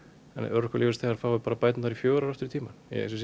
örorkulífeyrisþegar fái bara bætur fjögur ár aftur í tímann